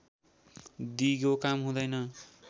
दिगो काम हुँदैन